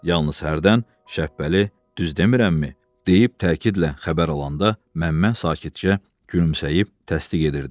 Yalnız hərdən "Şəhbəli, düz demirəmmi?" deyib təkidlə xəbər alanda Məmmə sakitcə gülümsəyib təsdiq edirdi.